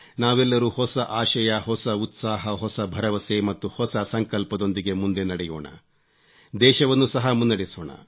ನಾವೆಲ್ಲರೂ ಹೊಸ ಆಶಯ ಹೊಸ ಉತ್ಸಾಹ ಹೊಸ ಭರವಸೆ ಮತ್ತು ಹೊಸ ಸಂಕಲ್ಪದೊಂದಿಗೆ ಮುಂದೆ ನಡೆಯೋಣ ದೇಶವನ್ನೂ ಸಹ ಮುನ್ನಡೆಸೋಣ